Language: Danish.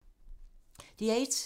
DR1